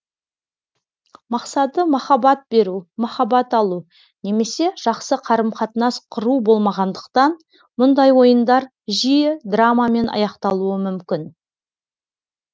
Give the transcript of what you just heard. мақсаты махаббат беру махаббат алу немесе жақсы қарым қатынас құру болмағандықтан мұндай ойындар жиі драмамен аяқталуы мүмкін